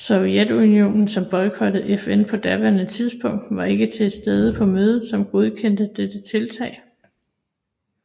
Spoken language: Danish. Sovjetunionen som boykottede FN på daværende tidspunkt var ikke til stede på mødet som godkendte dette tiltag